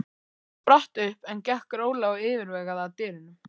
Hann spratt upp en gekk rólega og yfirvegað að dyrunum.